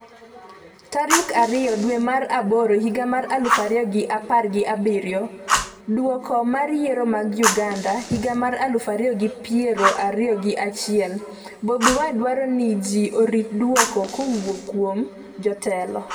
tarik ariyo dwe mar aboro higa mar aluf ariyo gi apar gi abiriyo .Duoko mag Yiero mag Uganda higa mar aluf ariyo gi piero ariyo gi achiel: Bobi Wine dwaro ni ji orit duoko kowuok kuom jotelo